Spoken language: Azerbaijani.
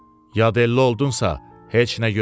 Yadelli oldunsa, heç nə gözləmə.